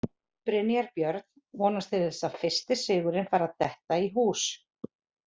Brynjar Björn vonast til að fyrsti sigurinn fari að detta í hús.